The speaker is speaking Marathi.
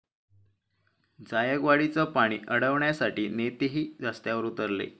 जायकवाडीचं पाणी अडवण्यासाठी नेतेही रस्त्यावर उतरले